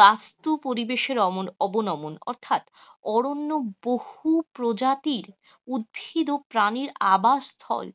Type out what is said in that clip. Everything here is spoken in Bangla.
বাস্তু পরিবেশের অবনমন, অরণ্য বহু প্রজাতির উদ্ভিদ ও প্রাণীর আবাসস্থল,